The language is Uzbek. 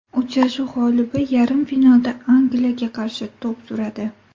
Uchrashuv g‘olibi yarim finalda Angliyaga qarshi to‘p suradi.